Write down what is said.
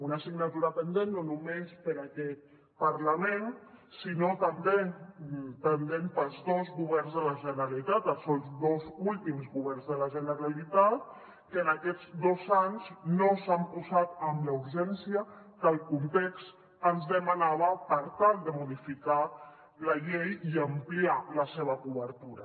una assignatura pendent no només per a aquest parlament sinó també pendent per als dos governs de la generalitat els dos últims governs de la generalitat que en aquests dos anys no s’hi han posat amb la urgència que el context ens demanava per tal de modificar la llei i ampliar la seva cobertura